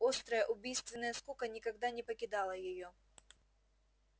острая убийственная скука никогда не покидала её